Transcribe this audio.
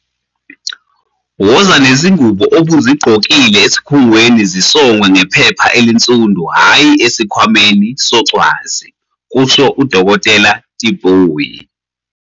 "Woza nezingubo obuzigqo kile esikhungweni zisongwe ngephepha elinsundu hhayi esikhwameni socwazi," kusho uDkt Tipoy.